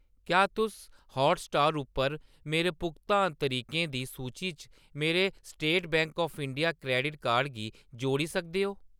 क्या तुस हॉटस्टार उप्पर मेरे भुगतान तरीकें दी सूची च मेरे State Bank of India credit card गी जोड़ी सकदे ओ ?